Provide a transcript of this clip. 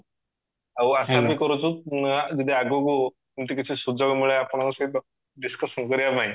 ଆଉ ଆଶା ବି କରୁଛୁ ଯଦି ଆଗକୁ ଏମିତି କିଛି ସୁଯୋଗ ମିଳେ ଆପଣଙ୍କ ସହିତ discussion କରିବାପାଇଁ